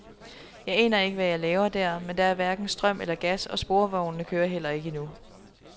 Jeg aner ikke, hvad jeg laver der, men der er hverken strøm eller gas, og sporvognene kører heller ikke endnu.